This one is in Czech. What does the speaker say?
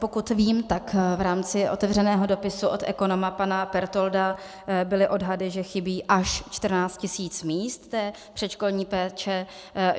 Pokud vím, tak v rámci otevřeného dopisu od ekonoma pana Pertolda byly odhady, že chybí až 14 tisíc míst té předškolní péče.